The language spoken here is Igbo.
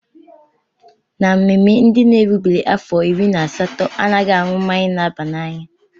Na mmemme, ndị n'erubeghi afọ iri na asatọ a ghaghị aṅụ mmanya na-aba n'anya.